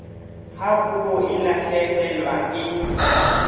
ha puo e lahlehelwa ke